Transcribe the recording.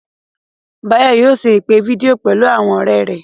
Báyọ̀ yóò ṣe ìpè fídíò pẹ̀lú àwọn ọ̀rẹ́ rẹ̀